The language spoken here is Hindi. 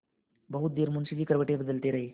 बहुत देर मुंशी जी करवटें बदलते रहे